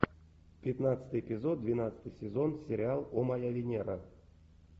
пятнадцатый эпизод двенадцатый сезон сериал о моя венера